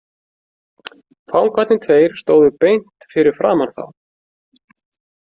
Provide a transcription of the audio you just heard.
Fangarnir tveir stóðu beint fyrir framan þá.